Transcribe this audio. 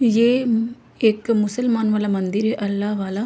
ये म एक मुसलमान वाला मंदिर हे अल्लाह वाला--